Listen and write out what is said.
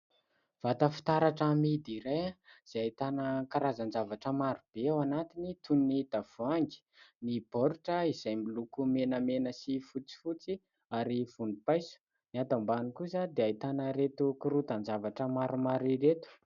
Vata fitaratra amidy iray izay ahitana karazan-javatra marobe ao anatiny toy ny tavoahangy, ny baoritra izay miloko menamena sy fotsifotsy ary volompaiso, ny ato ambany kosa dia ahitana ireto korontan-javatra maromaro ireto.